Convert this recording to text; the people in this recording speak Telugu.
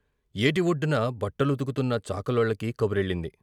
ఏటివొడ్డున బట్టలుతుకుతున్న చాకలోళ్ళకి కబురెళ్ళింది.